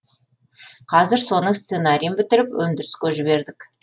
қазір соның сценарийін бітіріп өндіріске жібердік